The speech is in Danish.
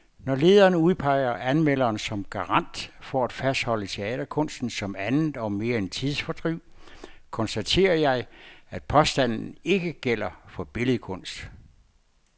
Når lederen udpeger anmelderen som garant for at fastholde teaterkunsten som andet og mere end tidsfordriv, konstaterer jeg, at påstanden ikke gælder for billedkunst.